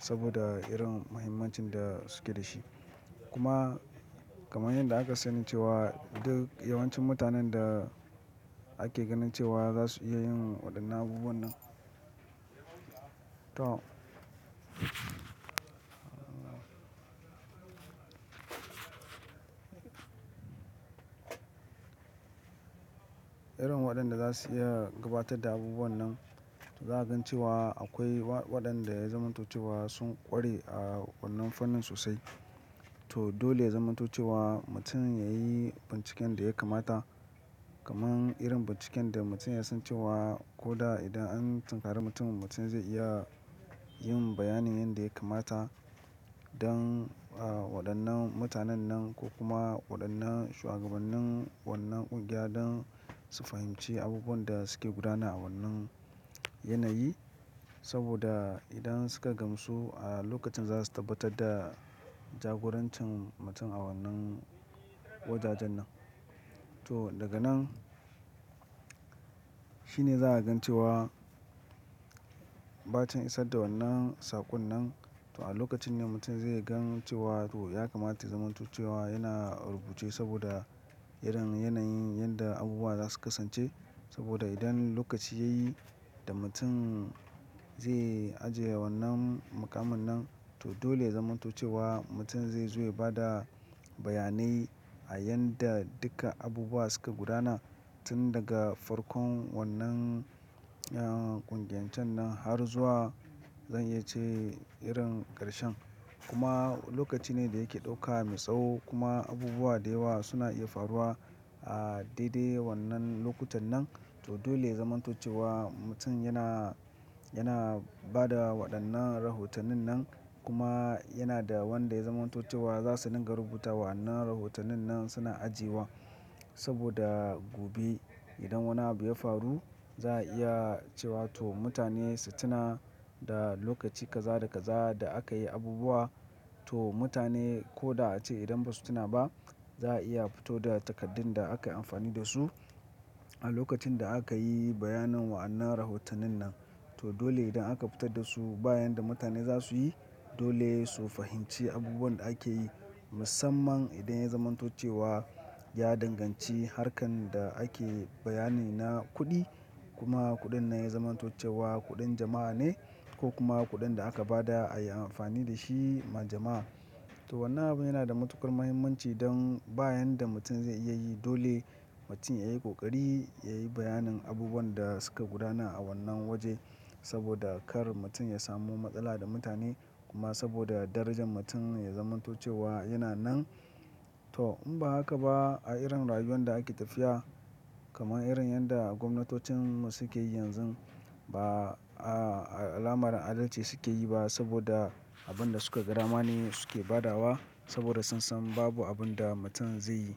saboda irin muhimmancin da suke da shi. Kuma kamar yadda aka sanice wa duk yawancin mutanen da ake ganince wa za su iya yin waɗannan abubuwan nan. To. Irin waɗanda za su iya gabatar da abubuwan nan, to za a gan ce wa akwai waɗanda ya zamantoce wa sun ƙware a wannan fannin sosai. To dole ya zamantoce wa mutum ya yi binciken da ya kamata. Kaman irin binciken da mutum ya san cewa ko da idan an tunkare mutum, mutum zai iya yin bayanin yanda ya kamata don waɗannan mutanen nan ko kuma waɗannan shugabannin wannan ƙungiya don su fahimci abubuwan da suke gudana a wannan yanayi. Saboda idan suka gamsu a lokacin za su tabbatar da jagorancin mutum a wannan wajajen nan. To daga nan shine za a gan ce wa bacin isar da wannan saƙon nan. To a lokacin ne mutum zai gan ce wa to ya kamata zamantoce wa yana rubuce saboda irin yanayin yanda abubuwa za su kasance. Saboda idan lokaci ya yi da mutum zai ajiye wannan muƙamin nan, to dole ya zamantoce wa mutum zai zo ya bada bayanai a yanda duka abubuwa suka gudana tun daga farkon wannan ƙungiyancin nan har zuwa zan iya ce irin ƙarshen. Kuma lokaci ne da yake ɗauka mai tsawo kuma abubuwa da yawa suna iya faruwa a daidai wannan lokutan nan. To dole ya zamantoce wa mutum yana, yana ba da waɗannan rahotannin nan kuma yana da wanda ya zamantoce wa za su dinga rubuta wa'annan rahotannin nan suna ajiyewa. Saboda gobe idan wani abu ya faru za a iya ce wa to mutane su tuna da lokaci kaza da kaza da aka yi abubuwa. To mutane ko da ace idan ba su tuna ba za a iya fito da takardun da aka yi amfani da su a lokacin da aka yi bayanin wa'annan rahotannin nan. To dole idan aka fitar da su bayan da mutane za su yi, dole su fahimci abubuwan da ake yi. Musamman idan ya zamantoce wa ya danganci harkan da ake bayani na kuɗi kuma kuɗin nan ya zamantoce wa kuɗin jama'a ne ko kuma kuɗin da aka ba da a yi amfani da shi ma jama'a. To wannan abun yana da matuƙar muhimmanci don bayan da mutum zai iya yi dole mutum ya yi ƙoƙari ya yi bayanin abubuwan da suka gudana a wannan waje saboda kar mutum ya samu matsala da mutane kuma saboda darajar mutum ya zamantoce wa yana nan. To in ba haka ba a irin rayuwan da ake tafiya kaman irin yadda gwamnatocinmu suke yi yanzun ba alamar adalci suke yi ba saboda abin da suka gada ma ne suke badawa saboda sun san babu abun da mutum zai yi.